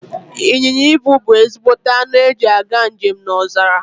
Inyịnya ibu bu ezigbote anụ eji aga njem n'ọzara